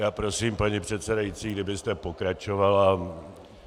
Já prosím, paní předsedající, kdybyste pokračovala.